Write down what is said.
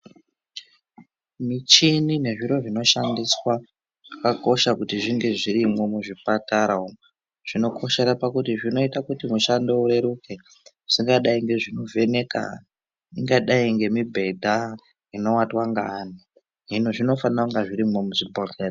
Michini nezviro zvinoshandiswa zvakakosha kuti zvinge zvirimwo muzvipatara umwu. Zvinokoshera pakuti zvinoita kuti mushando ureruke, zvakadai ngezvekuvheneka ,ingadai ngemibhedha inovatwa ngaanhu, zvinofanira kunge zvirimwo mwuzvibhodhlera.